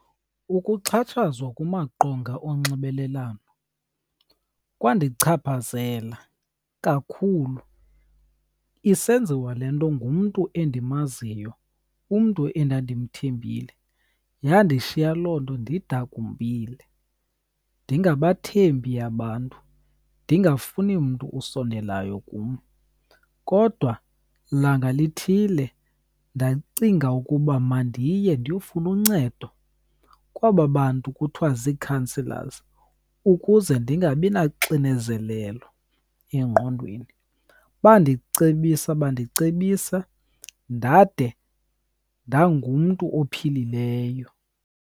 Ukuxhatshazwa kumaqonga onxibelelwano kwandichaphazela kakhulu. Isenziwa le nto ngumntu endimaziyo, umntu endandimthembile. Yandishiya loo nto ndidakumbile, ndingabathembi abantu, ndingafuni mntu usondelayo kum. Kodwa langa lithile ndacinga ukuba mandiye ndiyofuna uncedo kwaba bantu kuthiwa zii-counsellors ukuze ndingabi naxinezelelo engqondweni. Bandicebisa bandicebisa ndade ndangumntu ophilileyo.